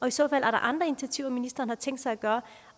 i så fald andre initiativer ministeren har tænkt sig